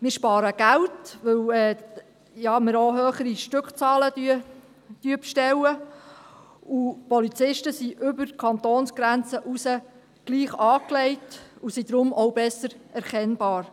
Wir sparen Geld, weil wir ja auch höhere Stückzahlen bestellen, und die Polizisten sind über die Kantonsgrenze hinaus gleich angezogen und sind deshalb auch besser erkennbar.